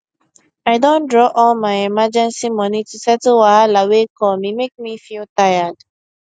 i don draw all my emergency money to settle wahala wey come e make me feel tired